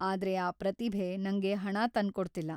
ಆದ್ರೆ ಆ ಪ್ರತಿಭೆ ನಂಗೆ ಹಣ ತಂದ್ಕೊಡ್ತಿಲ್ಲ.